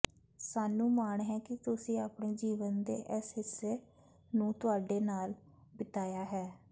ਸਾਨੂੰ ਮਾਣ ਹੈ ਕਿ ਤੁਸੀਂ ਆਪਣੇ ਜੀਵਨ ਦੇ ਇਸ ਹਿੱਸੇ ਨੂੰ ਤੁਹਾਡੇ ਨਾਲ ਬਿਤਾਇਆ ਹੈ